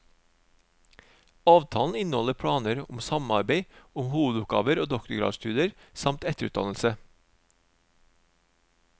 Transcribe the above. Avtalen inneholder planer om samarbeid om hovedoppgaver og doktorgradsstudier samt etterutdannelse.